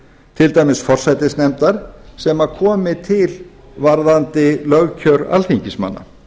til dæmis forsætisnefndar sem komi til varðandi lögkjör alþingismanna